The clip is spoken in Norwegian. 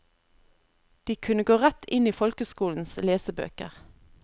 De kunne gå rett inn i folkeskolens lesebøker.